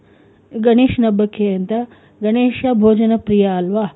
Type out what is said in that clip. ಗಣೇಶನ ಹಬ್ಬಕೆ ಅಂತ ಗಣೇಶ ಭೋಜನ ಪ್ರಿಯ ಅಲ್ವ?